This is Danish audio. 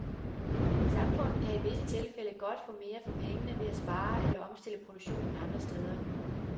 Samfundet kan i visse tilfælde godt få mere for pengene ved at spare eller omstille produktionen andre steder.